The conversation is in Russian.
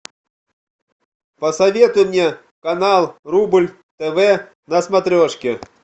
посоветуй мне канал рубль тв на смотрешке